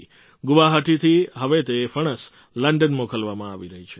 ગુવાહાટીથી હવે તે ફણસ લંડન મોકલવામાં આવી રહી છે